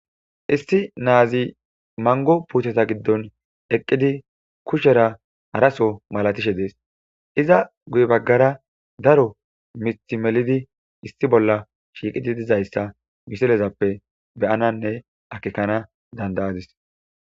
Issi naz mango Puteta gidon eqid kushera haraso malatishe Des. Iza guye bagara Daro mith melid issi bolla shiqid dizaysa misilezappe beyanane akekana danda'adis.